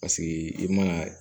Paseke i mana